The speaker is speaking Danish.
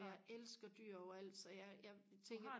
og jeg elsker dyr over alt så jeg jeg tænker